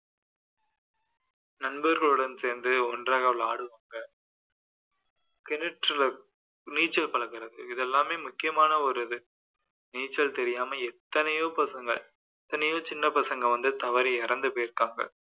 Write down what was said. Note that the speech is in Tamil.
நண்பர்களுடன் சேர்ந்து ஒன்றாக விளையாடுவாங்க கிணற்று நீச்சல் பழகுறது இதெல்லாமே முக்கியமான ஒரு இது நீச்சல் தெரியாம எத்தனையோ பசங்க எத்தனையோ சின்னப்பசங்க வந்து தவறி இறந்து போயிருக்காங்க